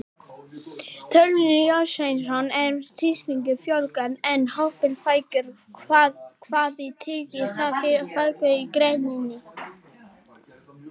Þórhallur Jósefsson: Ef einstaklingum fjölgar en hópum fækkar, hvað þýðir það fyrir afkomu í greininni?